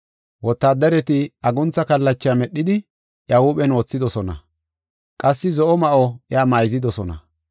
Wotaaddareti aguntha kallacha medhidi iya huuphen wothidosona. Qassi zo7o ma7o iya mayzidosona.